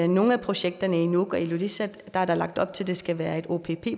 nogle af projekterne i nuuk og ilulissat er der lagt op til at det skal være et opp